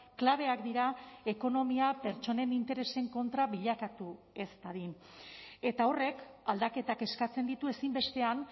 klabeak dira ekonomia pertsonen interesen kontra bilakatu ez dadin eta horrek aldaketak eskatzen ditu ezinbestean